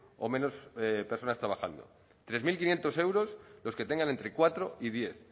o menos personas trabajando tres mil quinientos euros lo que tengan entre cuatro y diez